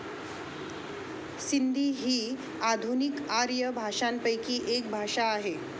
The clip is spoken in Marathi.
सिंधी ही आधुनिक आर्य भाषांपैकी एक भाषा आहे